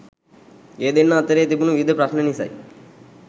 ඒ දෙන්නා අතරේ තිබුණු විවිධ ප්‍රශ්න නිසයි